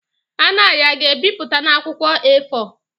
Anayo ga-ebipụta na akwụkwọ A4?